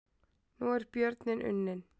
Nú er björninn unninn